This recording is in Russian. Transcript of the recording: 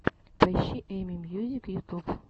поищи эми мьюзик ютюб